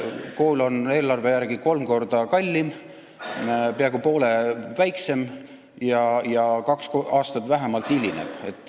Kool on eelarve järgi kolm korda kallim, peaaegu poole väiksem ja avamine hilineb vähemalt kaks aastat.